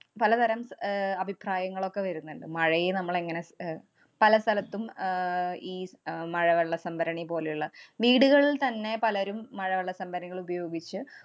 പലതരം ആഹ് അഭിപ്രായങ്ങളൊക്കെ വരുന്നുണ്ട്. മഴയെ നമ്മള്‍ എങ്ങനെ സ്~ അഹ് പല സ്ഥലത്തും അഹ് ഈ സ്~ അഹ് മഴവെള്ള സംഭരണി പോലെയുള്ള വീടുകളില്‍ത്തന്നെ പലരും മഴവെള്ള സംഭരണികള്‍ ഉപയോഗിച്ച്